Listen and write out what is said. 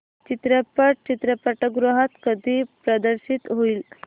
चित्रपट चित्रपटगृहात कधी प्रदर्शित होईल